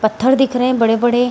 पत्थर दिख रहे हैं बड़े-बड़े --